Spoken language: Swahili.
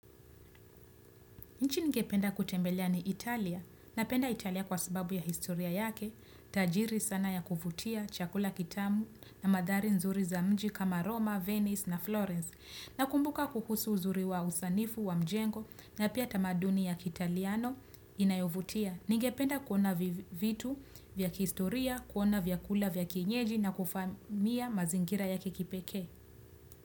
Nchi ningependa kutembelea ni Italia. Napenda Italia kwa sababu ya historia yake. Tajiri sana ya kuvutia, chakula kitamu na mandhari nzuri za mji kama Roma, Venice na Florence. Nakumbuka kuhusu uzuri wa usanifu wa mjengo na pia tamaduni ya kiitaliano inayovutia. Ningependa kuona vitu vya kiistoria, kuona vyakula vya kienyeji na kufahamia mazingira ya kikipekee.